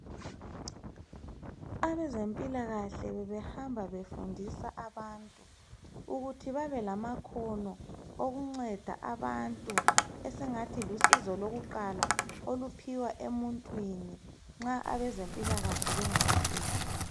abezempilakahle bebehamba befundisa abantu ukuthi babelamakhono okunceda abantu esingathi lusizo lwakuqala oluphiwa emuntwini nxa abezempilakahle bengakafiki